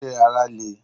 Ṣé ara le?